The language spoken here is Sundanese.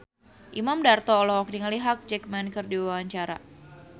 Imam Darto olohok ningali Hugh Jackman keur diwawancara